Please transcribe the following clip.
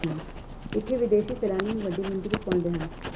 ਇੱਥੇ ਵਿਦੇਸ਼ੀ ਸੈਲਾਨੀ ਵੀ ਵੱਡੀ ਗਿਣਤੀ ਵਿੱਚ ਪਹੁੰਚਦੇ ਹਨ